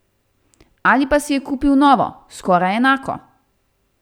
Ali pa si je kupil novo, skoraj enako.